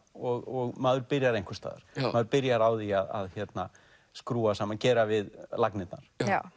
og maður byrjar einhvers staðar maður byrjar á því að skrúfa saman og gera við lagnirnar